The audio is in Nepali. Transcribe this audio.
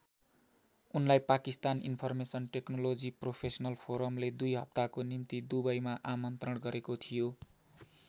उनलाई पाकिस्तान इन्फर्मेसन टेक्नोलोजि प्रोफेस्नल फोरमले २ हप्ताको निम्ति दुबईमा आमन्त्रण गरेको थियो।